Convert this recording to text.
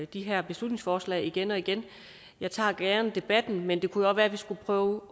de her beslutningsforslag igen og igen jeg tager gerne debatten men det kunne jo også være at vi skulle prøve